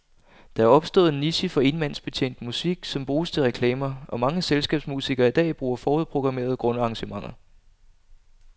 Der er opstået en niche for enmandsbetjent musik, som bruges til reklamer, og mange selskabsmusikere i dag bruger forudprogrammerede grundarrangementer.